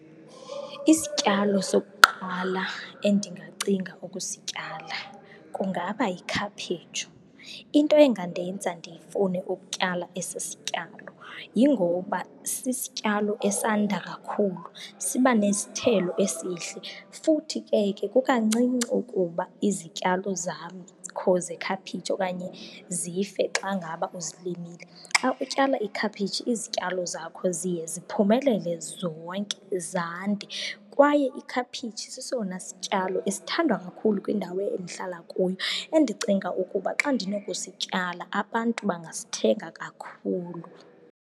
Isityalo sokuqala endingacinga ukusityala kungaba yikhaphetshu. Into engandenza ndifune ukutyala esi sityalo yingoba sisityalo esanda kakhulu, siba nesithelo esihle futhi ke ke kukancinci ukuba izityalo zam zekhaphetshu okanye zife xa ngaba uzilimile. Xa utyala ikhaphetshi izityalo zakho ziye ziphumelele zonke, zande. Kwaye ikhaphetshu sesona sityalo esithandwa kakhulu kwindawo endihlala kuyo endicinga ukuba xa ndinokusityala, abantu bangasithenga kakhulu.